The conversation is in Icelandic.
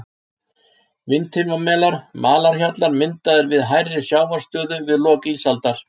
Vindheimamelar, malarhjallar myndaðir við hærri sjávarstöðu við lok ísaldar.